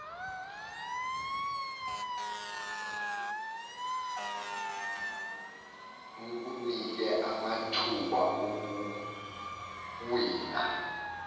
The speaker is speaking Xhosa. kukunike amathuba okuwina